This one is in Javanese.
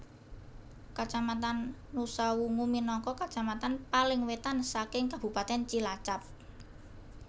Kacamatan Nusawungu minangka kacamatan paling wetan saking kabupatèn Cilacap